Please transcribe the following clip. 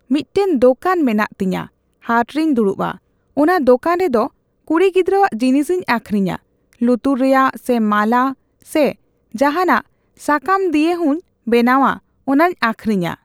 ᱢᱤᱜᱴᱮᱱ ᱫᱚᱠᱟᱱ ᱢᱮᱱᱟᱜ ᱛᱤᱧᱟ, ᱦᱟᱴ ᱨᱮᱧ ᱫᱩᱲᱩᱵᱼᱟ ᱾ ᱚᱱᱟ ᱫᱚᱠᱟᱱ ᱨᱮᱫᱚ ᱠᱩᱲᱤ ᱜᱤᱫᱽᱨᱟᱹᱣᱟᱜ ᱡᱤᱱᱤᱥᱤᱧ ᱟᱠᱷᱨᱤᱧᱟ, ᱞᱩᱛᱩᱨ ᱨᱮᱭᱟᱜ ᱥᱮ ᱢᱟᱞᱟ ᱥᱮ ᱡᱟᱦᱟᱸᱱᱟᱜ ᱥᱟᱠᱟᱢ ᱫᱤᱭᱮ ᱦᱚᱸᱧ ᱵᱮᱱᱟᱣᱟ ᱚᱱᱟᱧ ᱟᱠᱷᱨᱤᱧᱟ ᱾